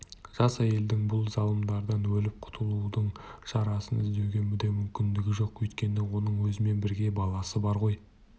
жас әйелдің бұл залымдардан өліп құтылудың шарасын іздеуге де мүмкіндігі жоқ өйткені оның өзімен бірге баласы бар ғой